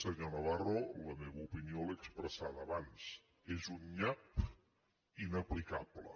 senyor navarro la meva opinió l’he expressada abans és un nyap inaplicable